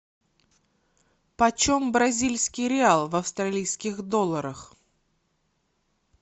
по чем бразильский реал в австралийских долларах